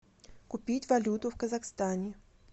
купить валюту в казахстане